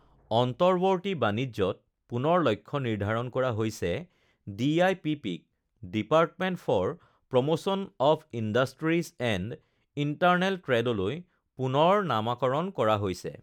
অন্তঃৱৰ্তী বাণিজ্যত পুনৰ লক্ষ্য নিৰ্ধাৰণ কৰা হৈছে ডিআইপিপিক department for promotion of industries and internal ট্ৰেডলৈ পুনৰ নামাকৰণ কৰা হৈছে